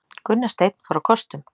Gunnar Steinn fór á kostum